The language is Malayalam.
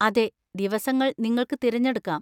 അതെ, ദിവസങ്ങൾ നിങ്ങൾക്ക് തിരഞ്ഞെടുക്കാം.